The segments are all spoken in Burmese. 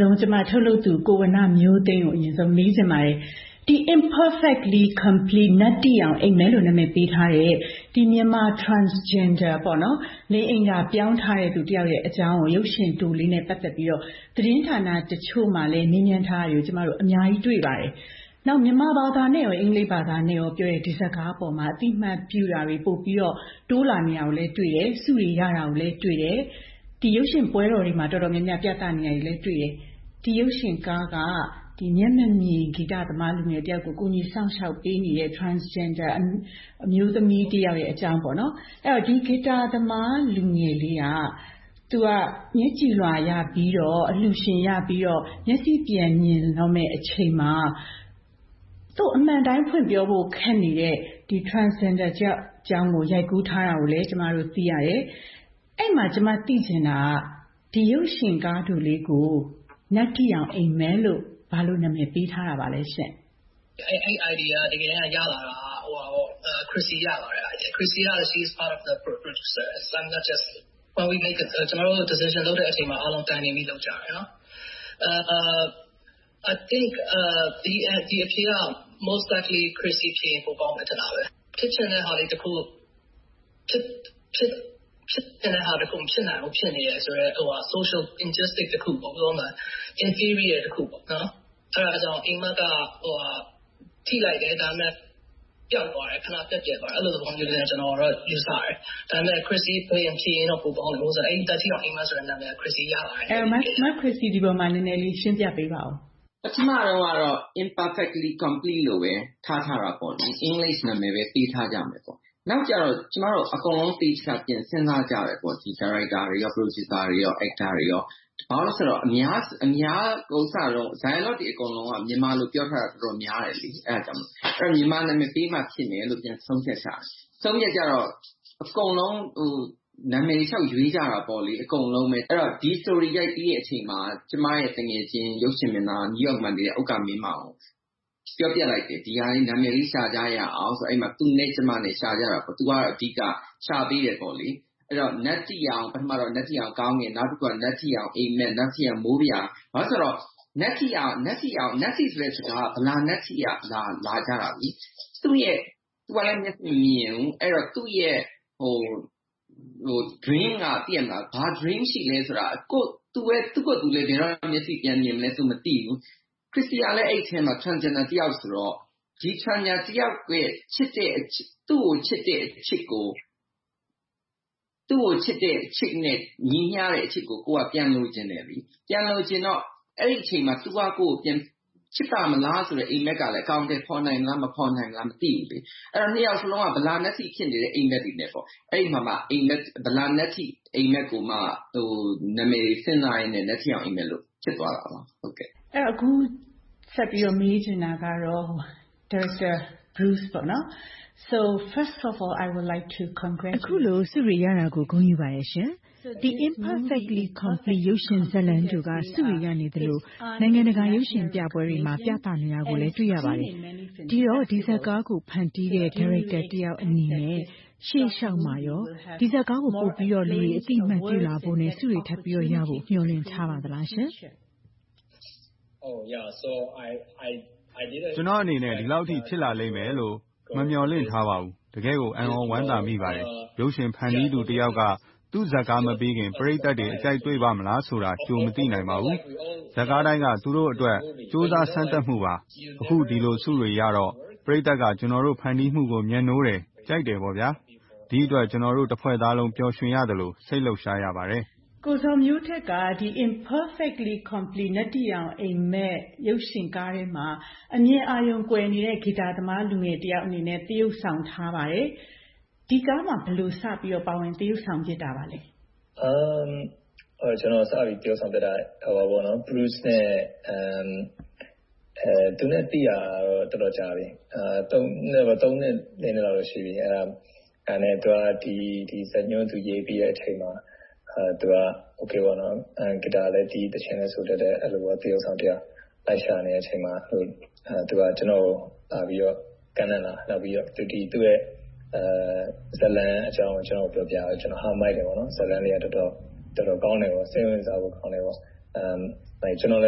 ဆုံး ကျမ ထုတ်လုပ်သူ ကိုဝဏ္ဏမျိုးသိန်းကို မေးချင်ပါတယ်။ Imperfectly Complete “နတ္ထိရောင် အိပ်မက်” လို့ နာမည်ပေးထားတဲ့ မြန်မာ Transgender လိင်အင်္ဂါ ပြောင်းထားတဲ့သူ တယောက်ရဲ့အကြောင်း ရုပ်ရှင်တိုလေးနဲ့ ပတ်သက်ပြီးတော့ သတင်းဌာနတချို့မှာလည်း မေးမြန်းထားတာကို ကျမတို့ အများကြီးတွေ့ပါတယ်။ နောက် မြန်မာဘာသာနဲ့ အင်္ဂလိပ်ဘာသာတို့နဲ့ ပြောထားတဲ့ ဒီဇာတ်ကားပေါ်မှာ အသိအမှတ်ပြုတာတွေ ပိုပြီးတော့ တိုးလာနေတာကိုလည်း တွေ့တယ်။ ဆုတွေ ရတာကိုလည်းတွေ့တယ်။ ဒီရုပ်ရှင်ပွဲတော်တွေမှာ တော်တော်များများ ပြသနေတာတွေလည်း တွေ့တယ်။ ဒီရုပ်ရှင်ကားက မျက်မမြင်ဂီတသမားတယောက်ကို ကူညီစောင့်ရှောက်ပေးနေတဲ့ Transgender အမျိုးသမီးတယောက်ရဲ့အကြောင်း။ အဲဒီတော့ ဂစ်တာသမား လူငယ်လေးက သူက မျက်ကြည်လွှာရပြီးတော့ အလှူရှင်ရပြီးတော့ မျက်စိပြန်မြင်တော့မယ့်အချိန်မှာ သူကို အမှန်အတိုင်း ဖွင့်ပြောဖို့ ခက်နေတဲ့ Transgender တယောက်အကြောင်းကို ရိုက်ကူးထားတာကိုလည်း ကျမတို့ သိရတယ်။ အဲဒီမှာ ကျမ သိချင်တာက ဒီရုပ်ရှင်ကားတိုလေးကို နတ္တိရောင် အိပ်မက်လို့ ဘာလို့နာမည်ပေးထားတာပါလဲရှင့်။ အဲဒီ idea က တကယ်တမ်း ရလာတာက ခရစ္စီဆီက ရပါတယ်။ She is part of the producer. ကျနော်တို့ decision လုပ်တဲ့အချိန်မှာ အားလုံးတိုင်ပင်ပြီး လုပ်ကြတယ်။ I think အဖြေက most likely ခရစ္စီ ဖြေရင် ပိုကောင်းမယ် ထင်ပါတယ်။ ဖြစ်ချင်တာလေးတခု မဖြစ်နိုင်ဘူး ဖြစ်နေတယ်ဆိုတဲ့ Social injustice တခု။ In period တခု။ အဲဒါကြောင့် အိပ်မက်က ထိလိုက်တယ်။ ဒါပေမဲ့ ပျောက်သွားတယ်။ ခဏပျက်ပြယ်သွားတယ်။ အဲဒီလိုသဘောမျိုးလို့ ကျနော်တော့ ယူဆတယ်။ ဒါပေမဲ့ ခရစ္စီ ဖြေရင်တော့ ပိုကောင်းတယ်။ နတ္တိရောင် အိပ်မက် ဆိုတဲ့နာမည်က ခရစ်တီ ရလာတဲ့ နာမည်ပါ။ မခရစ္စီ ဒီပေါ်မှာ နည်းနည်းလေး ရှင်းပြပေးပါအုံး။ ပထမတုန်းကတော့ Imperfectly Complete လို့ပဲ ထားထားတာပေါ့။ အင်္ဂလိပ်နာမည်ပဲ ပေးထားကြမယ်ပေါ့။ နောက်ကျတော့ ကျမတို့အားလုံး သေသေချာချာ ပြန်စဉ်းစားကြတယ်။ ဒါရိုက်တာ၊ ပရိုဂျူဆာတွေ - ဘာဖြစ်လို့လဲဆိုတော့ Dialogue တွေ အကုန်လုံးက မြန်မာလို ပြောထားတာ တော်တော်များတယ်။ အဲဒါကြောင့် မြန်မာနာမည်ပေးမှ ဖြစ်မယ်လို့ ပြန်ဆုံးဖြတ်ကြတယ်။ ဆုံးဖြတ်ကြတော့ အကုန်လုံး နာမည်တွေ လျှောက်ရွေးကြတယ်။ အဲဒီတော့ ဒီ story ရိုက်ပြီးတဲ့အခါမှာ ကျမရဲ့ သူငယ်ချင်း ရုပ်ရှင်မင်းသား New York မှာနေတဲ့ ဥက္ကာမင်းမောင်ကို ပြောပြလိုက်တယ်။ ဒီဇာတ်ကားအတွက် နာမည်လေး ရှာကြရအောင်ဆိုပြီး သူနဲ့ ကျမတို့ ရှာကြတယ်။ သူက အဓိက ရှာပေးတယ်။ ပထမတော့ နတ္တိရောင် ကောင်ကင်။ နောက်တခုက နတ္တိရောင် အိပ်မက်။ နောက်တခုက နတ္တိရောင် မိုးပြာ။ ဘာဖြစ်လို့လဲဆိုတော့ နတ္တိရောင် - နတ္တိဆိုတဲ့စကားက ဗလာနတ္တိက လာတာ။ သူကလည်း မျက်မမြင်ဘူး။ သူ့ရဲ့ dream က သူ့ကိုယ်သူလဲ ဘယ်တော့ မျက်စိပြန်မြင်မလဲဆိုတာ မသိဘူး။ ခရစ္စီကလည်း အဲဒီအထဲမှာ Transgender တယောက်ဆိုတော့။ ဒီ Transgender တယောက်ရဲ့ ချစ်တဲ့အချစ်ကို သူ့ကိုချစ်တဲ့အချစ်နဲ့ ညီမျှတဲ့အချစ်ကို ပြန်လိုချင်တယ်။ ပြန်လိုချင်တော့ အဲဒီအချိန်မှာ သူက ကိုယ့်ကိုယ် ပြန်ချစ်ပါ့မလားဆိုတဲ့ အိပ်မက်ကလဲ အကောင်ထည်ဖော်နိုင်မလား။ မဖော်နိုင်သလား မသိဘူး။ အဲဒီမှာ နှစ်ယောက်စလုံးက ဗလာနတ္တိ ဖြစ်နေတဲ့ အိပ်မက်တွေနဲ့ပေါ့။ အဲဒီမှာ ဗလာနတ္တိ အိပ်မက်ကိုမှ နာမည်တွေ စဉ်းစားရင်နဲ့ နတ္တိရောင် အိပ်မက်လို့ ဖြစ်သွားတာပါ။ အခုဆက်ပြီးတော့ မေးချင်တာက ဒါရိုက်တာ Bruce ပါ။ အခုလို ဆုတွေရတာကို ဂုဏ်ယူပါတယ်ရှင်။ Imperfectly Complete ရုပ်ရှင်ဇာတ်လမ်းတိုက ဆုတွေရနေသလို၊ နိုင်ငံတကာ ရုပ်ရှင်ပြပွဲတွေမှာ ပြသနေတာကိုလည်း တွေ့ရပါတယ်။ ဒီတော့ ဒီဇာတ်ကားကို ဖန်တီးခဲ့တဲ့ ဒါရိုက်တာတယောက်အနေနဲ့ ရှေ့လျှောက်မှာကော ဒီဇာတ်ကားကို လူတွေအသိအမှတ် ပြုလာဖို့နဲ့ ဆုတွေထပ်ပြီးတော့ ရဖို့အတွက် မျှော်လင့်ထားပါသလားရှင့်။ ကျနော့်အနေနဲ့ ဒီလောက်အထိ ဖြစ်လာလိမ့်မယ်လို့ မမျှော်လင့်ထားပါဘူး။ တကယ့်ကို အံ့သြဝမ်းသာမိပါတယ်။ ရုပ်ရှင်ဖန်တီးသူတယောက်က သူ့ဇာတ်ကားမပြီးခင် ပရိသတ်တွေအကြိုက် တွေ့ပါ့မလားဆိုတာကို ကြိုမသိနိုင်ပါဘူး။ ဇာတ်ကားတိုင်းက သူတို့အတွက် ကြိုးစားစမ်းသပ်မှုပါ။ အခု ဒီလိုဆုတွေရတော့ ပရိသတ်က ကျနော်တို့ ဖန်တီးမှုကို မြတ်နိုးတယ်၊ ကြိုက်တယ်။ ဒီအတွက် ကျနော်တို့ တဖွဲ့သားလုံး ပျော်ရွှင်ရသလို၊ စိတ်လှုပ်ရှားရပါတယ်။ ကိုဇော်မျိုးထက်က ဒီ Imperfectly Complete - နတ္တိရောင်အိပ်မက် ရုပ်ရှင်ကားထဲမှာ အမြင်အာရုံကွယ်နေတဲ့ ဂီတာသမား လူငယ်တယောက်အနေနဲ့ သရုပ်ဆောင်ထားပါတယ်။ ဒီကားမှာ ဘယ်လိုစပြီးတော့ ပါဝင်သရုပ်ဆောင် ဖြစ်တာပါလဲ။ ကျနော်စပြီးတော့ သရုပ်ဖြစ်တာက Bruce နဲ့ သိတာကတော့ တော်တော်ကြာပြီ။ သုံးနှစ်လေးနှစ်လောက်တော့ ရှိပြီ။ အဲဒါနဲ့ သူက ဒီဇာတ်ညွှန်းရေးပြီးတဲ့ အချိန်မှာ သူက ဂီတာလည်းတီး၊ သီချင်းလည်း ဆိုတတ်တဲ့ သရုပ်ဆောင်တယောက် လိုက်ရှာနေတဲ့ အချိန်မှာ သူက ကျနော့်ကို လာပြီးတော့ ကမ်းလှမ်းလာတယ်။ နောက်ပြီးတော့ သူ့ရဲ့ဇာတ်လမ်းအကြောင်းကို ကျနော့်ကို ပြောပြတယ်။ ကျနော်က မိုက်တယ်။ ဇာတ်လမ်းလေးက တော်တော်ကောင်းတယ်။ စိတ်ဝင်စားဖို့ကောင်းတယ်။ ကျနော်လ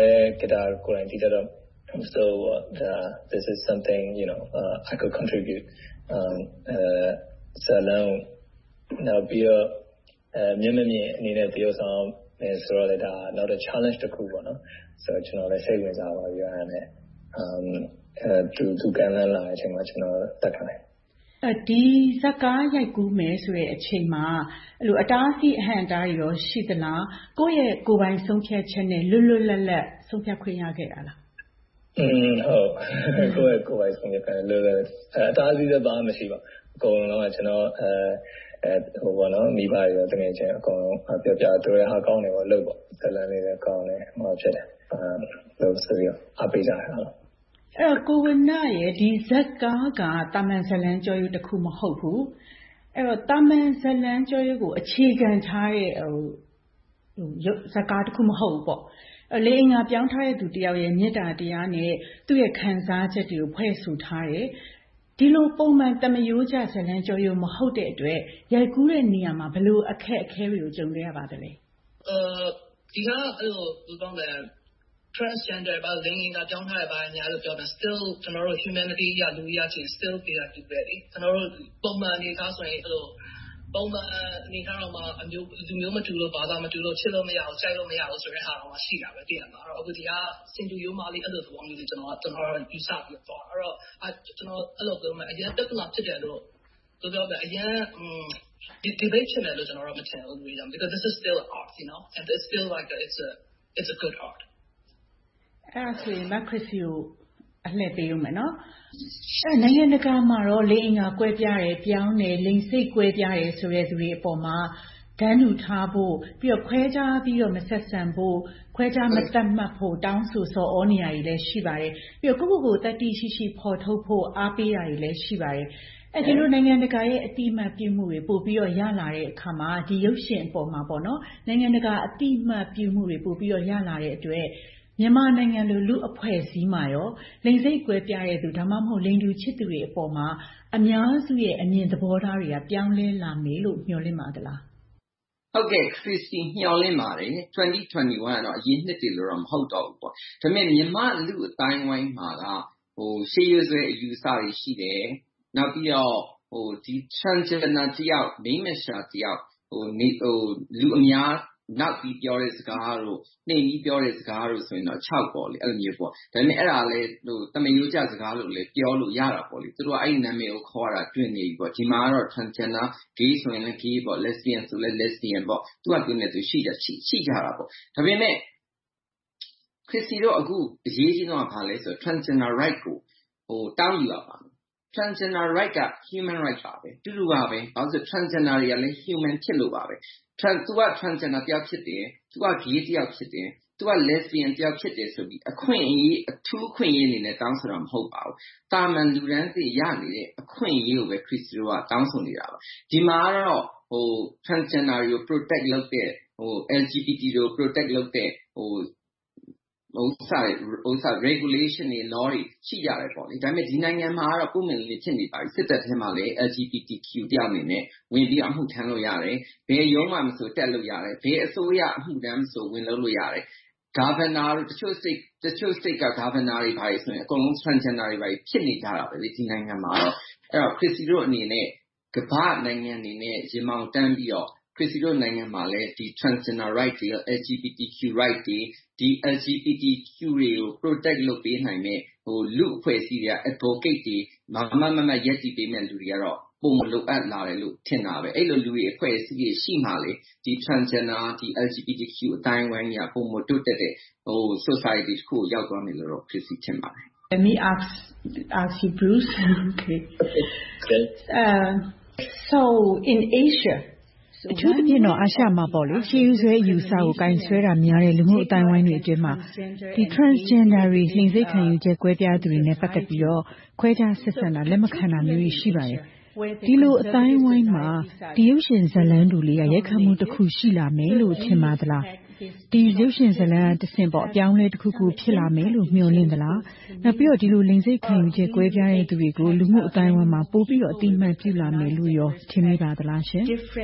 ည်း ဂီတာကိုယ်တိုင် တီးတတ်တော့၊ မဆိုးဘူး - This is something I can contribute. ဇာတ်လမ်း။ နောက်ပြီးတော့ မျက်မမြင်အနေနဲ့ သရုပ်ဆောင်ရမည်ဆိုတော့လည်း ဒါက Challenge တခုပေါ့။ ကျနော်လည်း စိတ်ဝင်စားသွားပြီးတော့ သူ ကမ်းလှမ်းလာတဲ့အချိန်မှာ ကျနော် လက်ခံလိုက်တယ်။ ဒီဇာတ်ကားရိုက်ကူးမယ်ဆိုတဲ့ အချိန်မှာ အတားအဆီး အဟန့်အတားတွေ ရှိသလား။ ကိုယ့်ရဲ့ ကိုယ်ပိုင်ဆုံးဖြတ်ချက်နဲ့ လွတ်လွတ်လပ်လပ် ဆုံးဖြတ်ခွင့်ရခဲ့တာလား။ ကိုယ့်ရဲ့ဆုံးဖြတ်ချက်နဲ့ အတားအဆီးလည်း ဘာမှမရှိပါဘူး။ အကုန်လုံး မိဘတွေ၊ သူငယ်ချင်းတွေ အကုန်လုံးကို ပြောပြတယ်။ သူတို့က ကောင်းတယ်၊ လုပ်ပေါ့။ ဇာတ်လမ်းလေးလည်း ကောင်းတယ်။ လုပ်ဆိုပြီးတော့ အားပေးကြတယ်။ အဲဒီတော့ ကိုဝဏ္ဏရဲ့ ဒီဇာတ်ကားက သာမန်ဇာတ်လမ်းကျောရိုးတခု မဟုတ်ဘူး။ အဲဒီတော့ သာမန်ဇာတ်လမ်းကျောရိုးကို အခြေခံထားတဲ့ ဇာတ်ကားတခု မဟုတ်ဘူးပေါ့။ လိင်အင်္ဂါပြောင်းထားတဲ့ လူတယောက်ရဲ့ မေတ္တာတရားနဲ့ သူ့ရဲ့ခံစားချက်တွေကို ဖွဲ့ဆိုထားတယ်။ ဒီလို ပုံမှန်သာမာရိုးကျ ဇာတ်လမ်းကျောရိုး မဟုတ်တဲ့အတွက် ရိုက်ကူးတဲ့နေရာမှာ ဘယ်လို အခက်အခဲတွေကို ကြုံတွေ့ခဲ့ရပါသလဲ။ ဒီဟာက Transgender လိင်အင်္ဂါ ပြောင်းထားတယ် ဘာညာပြောပေမယ့်။ Still ကျနော်တို့ Humanitarian လူအရကြည့်ရင် still they are people. ကျနော်တို့ ပုံမှန်အနေအထားဆိုရင် လူမျိုးမတူလို့၊ ဘာသာမတူလို့ ချစ်လို့မရဘူး၊ ကြိုက်လို့မရဘူးဆိုတာ ရှိတာပဲ။ အခု ဒီဟာက ဆင်တူရိုးမာလေးလို့ ကျနော်က ယူဆပြီးတော့ သွားတာ။ အဲဒီတော့ ကျနော်ကတော့ အရမ်းပြဿနာ ဖြစ်တယ်လို့တော့ - Debate ဖြစ်မယ်လို့တော့ ကျနော်က မထင်ဘူး။ This is still art. It’s a good art. အဲဒါဆိုရင် မခရစ္စီကို အလှည့်ပေးအုံးမယ်။ နိုင်ငံတကာမှာတော့ လိင်အင်္ဂါကွဲပြားတယ်။ ပြောင်းတယ်။ လိင်စိတ်ကွဲပြားတယ်ဆိုတဲ့ လူတွေပေါ်မှာ တန်းတူထားဖို့။ ပြီးတော့ ခွဲခြားပြီးတော့ မဆက်ဆံဖို့။ ခွဲခြားမသတ်မှတ်ဖို့ တောင်းဆိုဆော်သြနေတာတွေလည်း ရှိပါတယ်။ ပြီးတော့ ကိုယ့်ကိုယ်ကို သတ္တိရှိရှိ ဖော်ထုတ်ဖို့ အားပေးတာတွေလည်း ရှိပါတယ်။ ဒီလို နိုင်ငံတကာရဲ့ အသိအမှတ်ပြုမှုတွေ ပိုပြီးတော့ ရလာတဲ့အခါမှာ ဒီရုပ်ရှင်အပေါ်မှာ နိုင်ငံတကာ အသိအမှတ်ပြုမှုတွေ ပိုပြီးတော့ ရလာတဲ့အတွက် မြန်မာနိုင်ငံလို လူ့အဖွဲ့အစည်းမှာကော လိင်စိတ်ကွဲပြားတဲ့လူ၊ ဒါမှမဟုတ် လိင်တူချစ်သူတွေပေါ်မှာ အများစုရဲ့ အမြင်သဘောထားတွေက ပြောင်းလဲလာမယ်လို့ မျှော်လင့်ပါသလား။ ဟုတ်ကဲ့ ခရစ္စီ မျှော်လင့်ပါတယ်။ ၂၀၂၁ ကတော့ အရင်နှစ်တွေလို မဟုတ်တော့ဘူးပေါ့။ ဒါပေမဲ့ မြန်မာ့လူ့အသိုင်းအဝိုင်းမှာက ရှေးရိုးဆွဲအယူအဆတွေ ရှိတယ်။ နောက်ပြီးတော့ Transgender တယောက်၊ မိန်းမလျှာတယောက်။ နောက် လူအများနောက်ပြီးပြောတဲ့စကားတို့၊ နှိမ်ပြီးပြောတဲ့စကားတို့ဆိုရင်တော့ အခြောက်ပေါ့။ ဒါပေမဲ့ အဲဒါလဲ သာမာရိုးကျစကားလို ပြောလို့ရတယ်။ သူတို့က အဲဒီနာမည်ကို ခေါ်ရတာ တွင်နေပြီ။ ဒီမှာတော့ Transgender, Gay ဆိုလဲ Gay, Lesbian ဆိုလဲ Lesbian ပေါ့။ သူ့ဟာနဲ့သူ ရှိထားတယ်။ ဒါပေမဲ့ ခရစ္စတီတို့ အခု အရေးကြီးဆုံးက ဘာလဲဆိုတော့ Transgender Rights ကို တောင်းယူရပါမယ်။ Transgender Rights က Human Rights ပါပဲ။ အတူတူပါပဲ။ ဘာဖြစ်လို့လဲဆိုတော့ Transgender တွေကလဲ Human ဖြစ်လို့ပါပဲ။ သူက Transgender တယောက်ဖြစ်တယ်။ သူက Gay တယောက်ဖြစ်တယ်။ သူက Lesbian တယောက် ဖြစ်တယ်ဆိုပြီး အထူးအခွင့်အရေးတွေအနေနဲ့ တောင်းဆိုတာ မဟုတ်ပါဘူး။ သာမန်လူတန်းစေ့ ရနေတဲ့ အခွင့်အရေးကိုပဲ ခရစ္စီတို့က တောင်းဆိုနေတာပါ။ ဒီမှာတော့ Transgender တွေကို Protect လုပ်တဲ့ LGBTQ Protect လုပ်တဲ့ Regulations, Laws တွေ ရှိကြတယ်။ ဒါပေမဲ့ ဒီနိုင်ငံမှာတော့ ပွင့်ပွင့်လင်းလင်း ဖြစ်နေပြီ။ စစ်တပ်ထဲမှာလည်း LGBTQ လူတယောက်အနေနဲ့ ဝင်ပြီးတော့ အမှုထမ်းလို့ရတယ်။ ဘယ်ရုံးမှာမဆို တက်လို့ရတယ်။ ဘယ်အစိုးရဝန်ထမ်းမဆို ဝင်လုပ်လို့ရတယ်။ Governor တို့၊ တချို့ ပြည်နယ်က Governor တွေ၊ ဘာတွေဆိုရင် အကုန်လုံး Transgender တွေ ဖြစ်နေကြတာ ဒီနိုင်ငံ။ အဲဒီတော့ ခရစ္စတီတို့အနေနဲ့ ကမ္ဘာ့နိုင်ငံတွေနဲ့ ရင်ဘောင်တန်းပြီးတော့ ခရစ္စတီတို့ နိုင်ငံမှာလဲ Transgender Rights, LGBTQ rights တွေ၊ ဒီ NCPTQ တွေကို Protect လုပ်ပေးနိုင်မယ့် လူ့အဖွဲ့အစည်းတွေက Advocate တွေ မားမားမတ်မတ် ရပ်တည်ပေးမယ့် လူတွေကတော့ ပိုမိုလိုအပ်လာတယ်လို့ ထင်တာပဲ။ အဲဒီလိုလူတွေ၊ အဖွဲ့အစည်းတွေ ရှိမှ။ ဒီ Transgender, LGBTQ အသိုင်းအဝိုင်းကြီးက ပိုမိုတိုးတက်တဲ့ လူ့အဖွဲ့အစည်းတခုကို ရောက်သွားမယ်လို့ ကျနော် ထင်ပါတယ်။ အထူးသဖြင့်တော့ Asia မှာပေါ့ ရှေးရိုးဆွဲအယူအဆကို ကိုင်ဆွဲတာများတဲ့ လူမှုအသိုင်းအဝိုင်းတွေအတွင်းမှာ Transgender တွေ လိင်စိတ်ခံယူချက် ကွဲပြားသူတွေနဲ့ ပတ်သက်ပြီးတော့ ခွဲခြားဆက်ဆံတာတွေ၊ လက်မခံတာမျိုးတွေ ရှိပါတယ်။ ဒီလိုအသိုင်းအဝိုင်းဟာ ဒီရုပ်ရှင်ဇာတ်လိမ်းတိုလေးက ရိုက်ခတ်မှုတခု ရှိလာမယ်လို့ ထင်ပါသလား။ ဒီရုပ်ရှင်ဇာတ်လမ်းကတဆင့် အပြောင်းအလဲတခုခု ဖြစ်လာမယ်လို့ မျှော်လင့်သလား။ နောက်ပြီးတော့ ဒီလိုလိင်စိတ်ခံယူချက် ကွဲပြားတဲ့လူတွေကို လူမှုအသိုင်းအဝိုင်းမှာ ပိုပြီးတော့ အသိအမှတ်ပြုလာမယ်လို့ကော ထင်မိပါသလားရှင်။